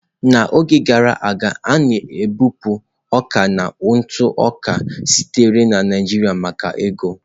N'oge gara aga, a na-ebupụ ọka na ntụ oka sitere na Naijiria maka ego.